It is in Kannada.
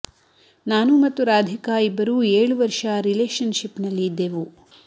ನಾನು ಮತ್ತು ರಾಧಿಕಾ ಇಬ್ಬರು ಏಳು ವರ್ಷ ರಿಲೇಷನ್ ಶಿಪ್ ನಲ್ಲಿ ಇದ್ದೆವು